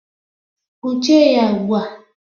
Kpọchie ya ugbu a!